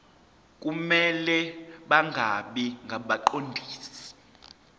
kumele bangabi ngabaqondisi